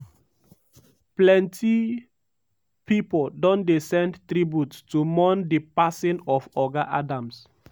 plenty pipo don dey send tributes to mourn di passing of oga adams.